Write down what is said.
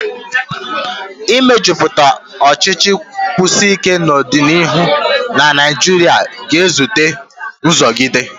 Ịmejuputa ọchịchị Kọmunist n'ọdịniihu na Nigeria ga-ezute nguzogide.